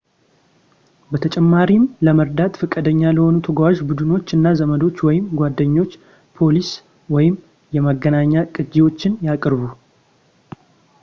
በተጨማሪም ለመርዳት ፈቃደኛ ለሆኑ ተጓዥ ቡድኖች እና ዘመዶች ወይም ጓደኞች ፖሊሲ / የመገናኛ ቅጅዎችን ያቅርቡ